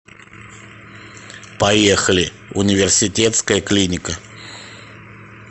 поехали университетская клиника